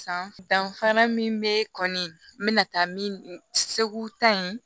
San danfara min bɛ kɔni n'a taa min segu ta in